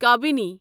قبیٖنی